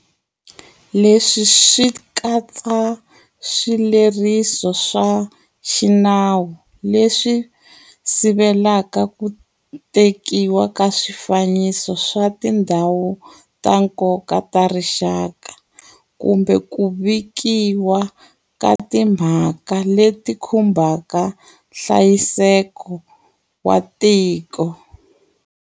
Leswi swi katsa swileriso swa xinawu leswi sivelaka ku tekiwa ka swifaniso swa Tindhawu ta Nkoka ta Rixaka kumbe ku vikiwa ka timhaka leti khumbaka nhlayiseko wa tiko.